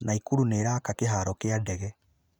Naikuru nĩĩraaka kĩhaaro kĩa ndege